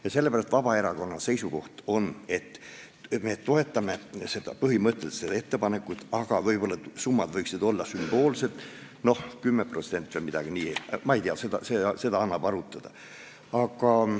Ja sellepärast on Vabaerakonna seisukoht, et me toetame põhimõtteliselt seda ettepanekut, aga võib-olla summad võiksid olla sümboolsed, 10% või midagi sellist – seda annab arutada.